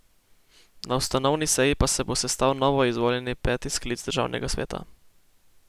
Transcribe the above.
Na ustanovni seji pa se bo sestal novoizvoljeni, peti sklic državnega sveta.